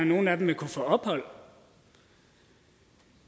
nogle af dem vil kunne få ophold